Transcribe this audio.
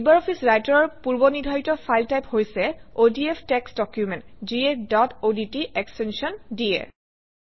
LibreOffice Writer অৰ পূৰ্বনিৰ্ধাৰিত file type হৈছে অডিএফ টেক্সট ডকুমেণ্ট যিয়ে ডট অডট এক্সটেনশ্যন দিয়ে